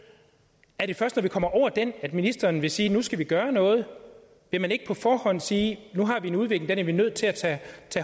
er det først når vi kommer over den at ministeren vil sige at nu skal vi gøre noget vil man ikke på forhånd sige nu har vi en udvikling og den er vi nødt til at tage